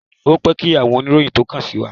Ó pẹ́ kí àwọn oníròyìn tó kàn sí wa.